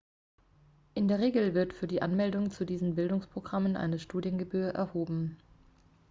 in der regel wird für die anmeldung zu diesen bildungsprogrammen eine studiengebühr erhoben